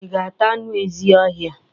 Ị ga-ata anụ ezi ọhia?